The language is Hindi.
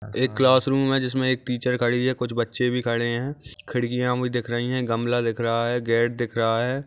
एक क्लासरूम है जिसमे एक टीचर खड़ी हैं कुछ बच्चे भी खड़े है खिड़कियाँ भी दिख रही है गमला दिख रहा है गेट दिख रहा है।